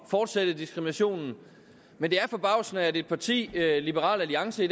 fortsætte diskriminationen men det er forbavsende at et parti liberal alliance